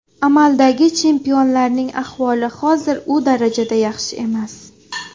Amaldagi chempionlarning ahvoli hozir u darajada yaxshi emas.